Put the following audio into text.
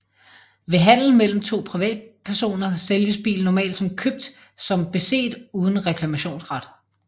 Ved handel mellem to privatpersoner sælges bilen normalt som købt som beset uden reklamationsret